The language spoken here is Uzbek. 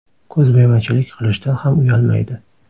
Ko‘zbo‘yamachilik qilishdan ham uyalmaydi.